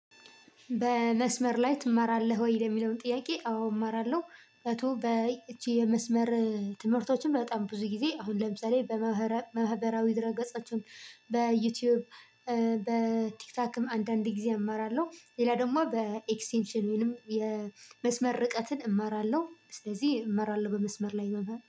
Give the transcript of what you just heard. በመስመር ላይ ትማራለህ ወይ ለሚለውን ጥያቄ አዎ እማራለሁ በቶ በ እቺ የመስመር ትምህርቶችን በጣም ብዙ ጊዜ አሁን ለምሳሌ በመህበራዊ ድረ ገጻችሁን በዩቲዩብ በቲክታክም አንዳንድ ጊዜ እማራለሁ። ሌላ ደግሞ በኤክስቴንሽን ወይንም የመስመር ርቀትን እማራለሁ ስለዚህ እማራለሁ በመስመር ላይ መምህር